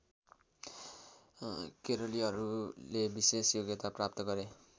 केरलीहरूले विशेष योग्यता प्राप्त गरे